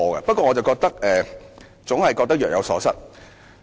不過，我總覺得若有所失。